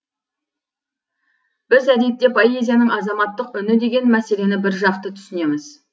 біз әдетте поэзияның азаматтық үні деген мәселені біржақты түсінеміз